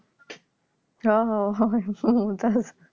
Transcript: হ হ ওই Mumtaz